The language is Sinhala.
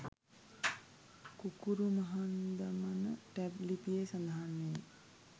කුකුරුමහන්දමන ටැම් ලිපියේ සඳහන්වේ.